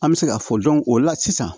An bɛ se k'a fɔ o la sisan